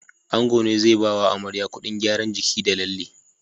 Ango ne zai Bawa amarya Ƙudin gyaran jiki da lalle